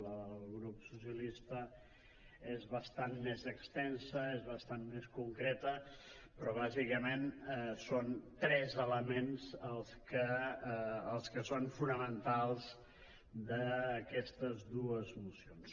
la del grup socialistes és bastant més extensa és bastant més concreta però bàsicament són tres elements els que són fonamentals d’aquestes dues mocions